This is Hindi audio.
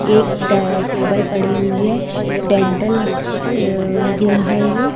एक डे टेबल पड़ी हुई डेंटल हॉस्पिट अ रूम है ये--